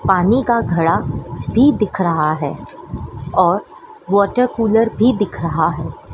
पानी का घड़ा भी दिख रहा है और वाटर कूलर भी दिख रहा है।